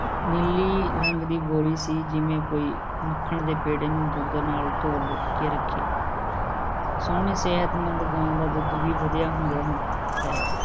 ਨੀਲੀ ਰੰਗ ਦੀ ਗੋਰੀ ਸੀ ਜਿਵੇਂ ਕੋਈ ਮੱਖਣ ਦੇ ਪੇੜੇ ਨੂੰ ਦੁੱਧ ਨਾਲ ਧੋ ਲੈ ਕੇ ਰੱਖਿਆ ਸੋਹਣੀ ਸਿਹਤਮੰਦ ਗਾਂ ਦਾ ਦੁੱਧ ਵੀ ਵਧੀਆ ਹੁੰਦਿਆਂ ਹੋਇਆ ਹੈ।